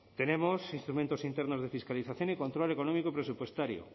tenemos instrumentos internos de fiscalización y control económico presupuestario